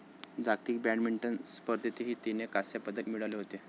जागतिक बॅडमिंटन स्पर्धेतही तिने कास्यंपदक मिळवले होते.